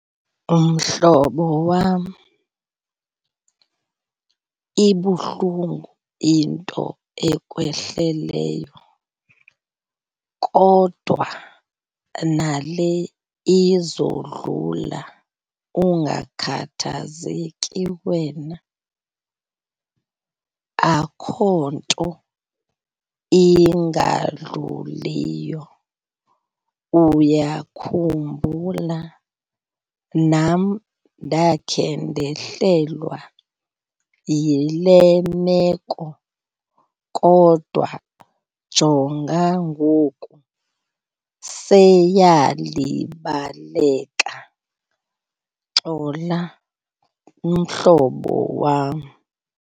Mhlobo wam, ibuhlungu into ekwehleleyo kodwa nale izondlula ungakhathazeki wena. Akho nto ingadluliyo. Uyakhumbula nam ndakhe ndehlelwa yile meko, kodwa jonga ngoku seyalibaleka, xola mhlobo wam.